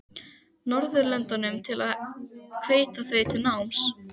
Norðurlöndunum til að hvetja þau til náms?